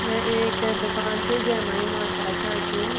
यो एक दुकान च जैमा यु माछा रख्याँ छी।